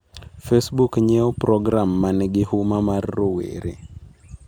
Facebook nyiewo program manigi huma mar rowere